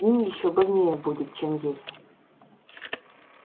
им ещё больнее будет чем ей